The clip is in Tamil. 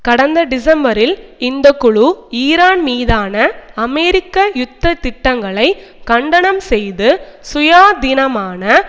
கடந்த டிசம்பரில் இந்த குழு ஈரான் மீதான அமெரிக்க யுத்த திட்டங்களை கண்டனம் செய்து சுயாதீனமான